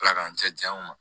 Ala k'an cɛ janya n ma